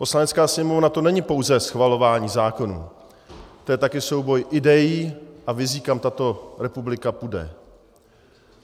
Poslanecká sněmovna, to není pouze schvalování zákonů, to je také souboj idejí a vizí, kam tato republika půjde.